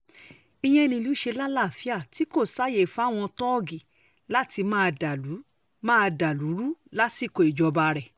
ìyẹn nílùú ṣe lálàáfíà tí kò sáàyè fáwọn tóógi láti máa dàlú máa dàlú rú lásìkò ìjọba rẹ̀